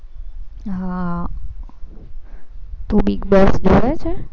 હા